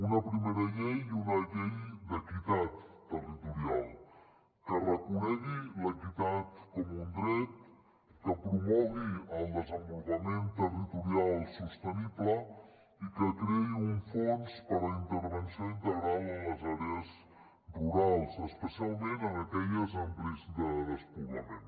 una primera llei una llei d’equitat territorial que reconegui l’equitat com un dret que promogui el desenvolupament territorial sostenible i que creï un fons per a una intervenció integral en les àrees rurals especialment en aquelles amb risc de despoblament